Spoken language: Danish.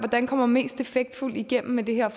man kommer mest effektfuldt igennem med det her